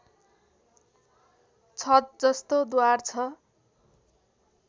छत जस्तो द्वार छ